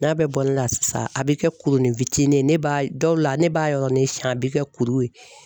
N'a bɛɛ bɔlila na sisan a bɛ kɛ kurunin fitinin ye, ne b'a dɔw la ne b'a yɔrɔnin siɲɛ a bɛ kɛ kuru ye.